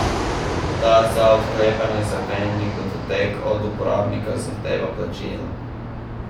Ta za odklepanje zaklenjenih datotek od uporabnika zahteva plačilo.